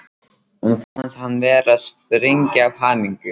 Honum fannst hann vera að springa af hamingju.